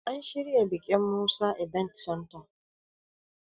An shirya bikin Musa ibent Santa